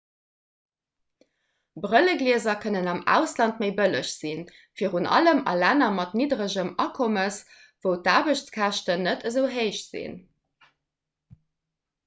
brëlleglieser kënnen am ausland méi bëlleg sinn virun allem a länner mat nidderegem akommes wou d'aarbechtskäschten net esou héich sinn